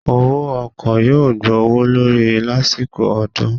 Owó ọkọ yóò gbówó lórí lásìkò ọdún